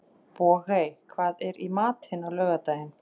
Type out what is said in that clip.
Bogey, hvað er í matinn á laugardaginn?